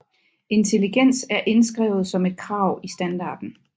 Intelligens er indskrevet som et krav i standarden